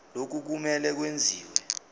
lokhu kumele kwenziwe